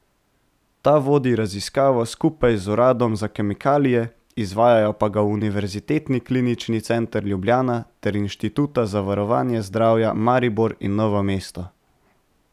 Ta vodi raziskavo skupaj z Uradom za kemikalije, izvajajo pa ga Univerzitetni klinični center Ljubljana ter inštituta za varovanje zdravja Maribor in Novo mesto.